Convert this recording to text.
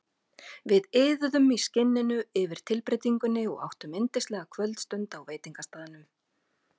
Við iðuðum í skinninu yfir tilbreytingunni og áttum yndislega kvöldstund á veitingastaðnum.